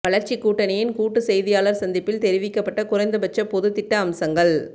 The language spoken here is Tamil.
வளர்ச்சி கூட்டணியின் கூட்டு செய்தியாளர் சந்திப்பில் தெரிவிக்கப்பட்ட குறைந்தபட்ச பொதுத் திட்ட அம்சங்கள்